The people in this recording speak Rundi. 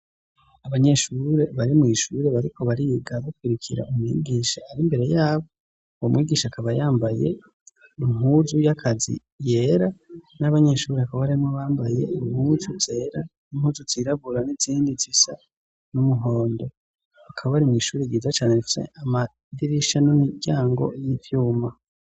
Abanyeshure bari mu ishure bariko bariga bakwirikira umwigisha ari imbere yabo, uwo mwigisha akaba yambaye impuzu y'akazi yera n'abanyeshuri hakaba harimwo abambaye impuzu zera n'impuzu zirabura n'izindi zisa n'umuhondo, bakaba bari mu ishuri ryiza cane rifise amadirisha n'imiryango y'ivyuma.